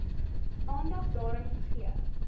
aandag daaraan gegee